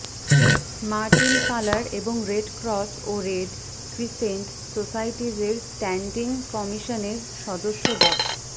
Martin Faller এবং Red Cross ও Red Crescent সোসাইটিজের স্ট্যান্ডিং কমিশনের সদস্য ড